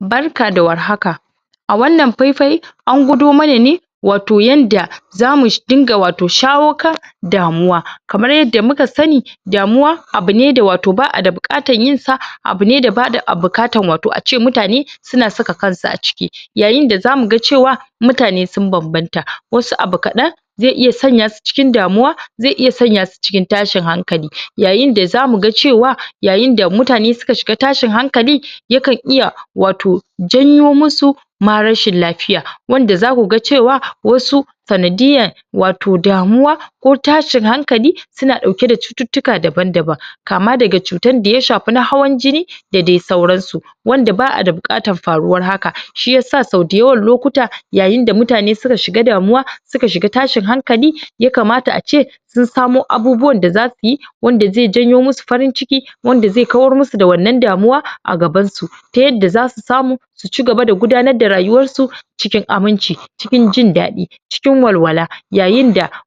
Barka da warhaka, a wannan faifain an gwadomana ne wato yanda zamu dinga shawo kan damuwa. kamar yanda muka Sani damuwa abune da wato baʼada buƙkatar yinsa, abune da baʼada buƙatar wato ace mutane suna saka kansu a ciki. Yayinda zamuga cewa mutane sun banbanta Wasu abu kaɗan zai iya sanyasu cikin damuwa zai iya sanyasu cikin tashin hankali. Yayinda zamuga cewa yayinda mutane suka shiga tashin hankali yakan iya wato janyomusu ma rashin lafiya wanda zakuga cewa wasu sanadiyyan wato damuwa ko tashin hankali suna dauke da cututtuka da daban daban kama daga cutanda ya shafi na hawan jini da dai sauransu wanda baʼada bukatar faruwan haka Shiyasa sau dayawan lokuta yayinda mutane suka shiga damuwa suka shiga tashin hankali yakamata ace sun samo abubuwanda zasuyi wanda zai janyomusu farin ciki wanda zai kawar musu da wannan damuwan a gabansu ta yanda zasu samu su cigaba da gudanar da rayuwarsu cikin aminci cikin jindadɗi cikin walwala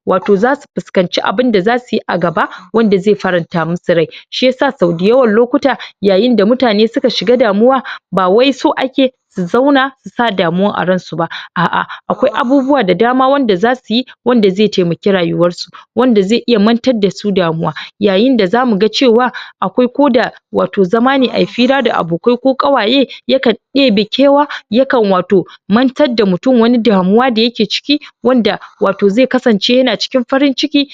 wato zasu fuskanci abunda zasuyi a gaba wanda zai faranta musu rai Shiyasa sau da yawan lokuta yayinda mutane suka shiga damuwa ba wai so ake su zauna susa damuwa a ransu ba aʼa akwai abubuwa da dama da zasuyi wanda zai taimaki rayuwarsu wanda zai mantar dasu damuwa yayinda zamuga cewa akwai koda wato zamane Ayi fira da abokai ko kawaye yakan ɗebe kewa yakan wato mantar da mutum Wani damuwa da yake ciki wanda wato zai kasance yana cikin farin ciki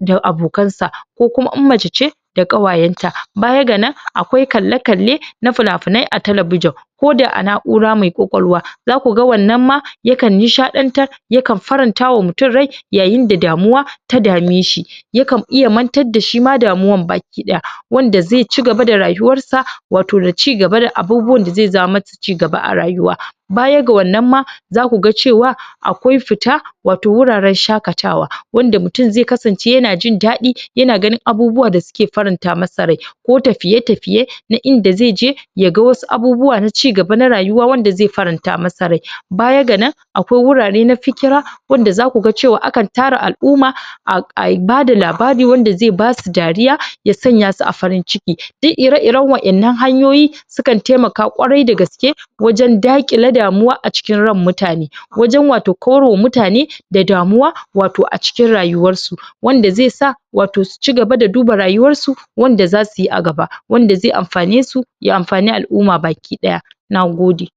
da abokansa ko kuma in mace ce da ƙawayenta bayaga nan akwai kalle kalle na fina finai a talabijan koda a naʼura mai ƙwaƙwalwa zakuga wannan ma yakan nishadantar yakan farantama mutum rai yayinda damuwa ta dameshi, yakan iya mantar dashi ma damuwan baki daya wanda zai cigaba da rayuwarsa wato da cigaba da abubuwanda zai jawo masa cigaba a rayuwa bayaga wannan ma zakuga akwai fita wato wuraren shakatawa wanda mutum zai kasance yana jin daɗi yana ganin abubuwa da suke faranta masa rai ko tafiye tafiye na inda zaije yaga Wasu abubuwa na cigaba na rayuwa wanda zai faranta masa rai bayaga nan akwai wurare na fiƙira wanda zakuga cewa akan tara alʼumma a bada labari wanda zai basu dariya yasanyasu a farin ciki duk ire iren wadannan hanyoyi sukan taimaka kwarai da gaske wajen dakƙile damuwa a cikin ran mutane, wajen wato kawarma mutane da damuwa wato a cikin rayuwarsu wanda zaisa wato su cigaba da duba rayuwarsu wanda zasuyi a gaba wanda zai anfanesu ya anfani alʼumma bakiɗaya, Nagode.